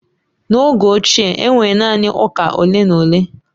N’oge ochie, e nwere naanị ụka ole na ole.